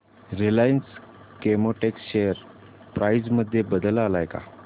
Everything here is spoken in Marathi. रिलायन्स केमोटेक्स शेअर प्राइस मध्ये बदल आलाय का